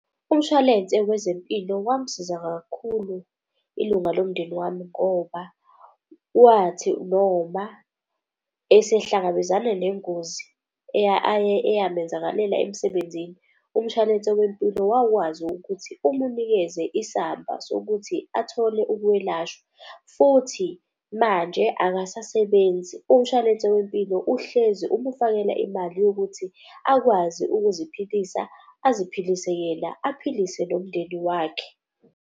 Umshwalense wezempilo wamsiza kakhulu ilunga lomndeni wami ngoba wathi noma esehlangabezana nengozi eyamenzakalela emsebenzini. Umshwalense wempilo wakwazi ukuthi umunikeze isamba sokuthi athole ukwelashwa. Futhi manje akasasebenzi, umshwalense wempilo uhlezi umufakela imali yokuthi akwazi ukuziphilisa. Aziphilise yena aphilise nomndeni wakhe.